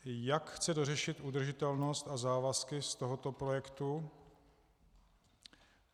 Jak chce dořešit udržitelnost a závazky z tohoto projektu?